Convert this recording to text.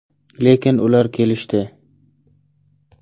Lekin ular kelishdi.